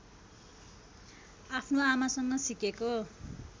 आफ्नो आमासँग सिकेको